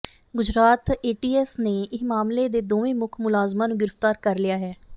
Gujarat ATS ਨੇ ਇਸ ਮਾਮਲੇ ਦੇ ਦੋਵੇਂ ਮੁੱਖ ਮੁਲਜ਼ਮਾਂ ਨੂੰ ਗ੍ਰਿਫ਼ਤਾਰ ਕਰ ਲਿਆ ਹੈ